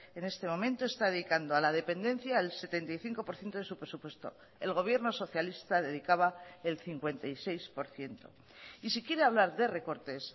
en este momento está dedicando a la dependencia el setenta y cinco por ciento de su presupuesto el gobierno socialista dedicaba el cincuenta y seis por ciento y si quiere hablar de recortes